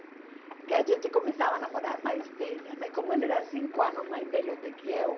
Porque a gente começava a namorar mais velha, não é, como ele era cinco anos mais velho do que eu.